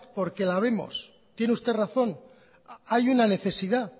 porque la vemos tiene usted razón hay una necesidad